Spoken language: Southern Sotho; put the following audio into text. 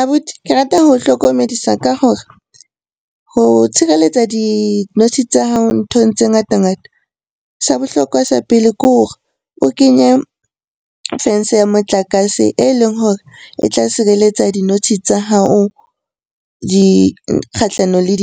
Abuti ke rata ho hlokomedisa ka hore ho tshireletsa dinotshi tsa hao nthong tse ngata-ngata sa bohlokwa sa pele ke hore o kenye fence ya motlakase e leng hore e tla sireletsa dinotshi tsa hao kgahlano le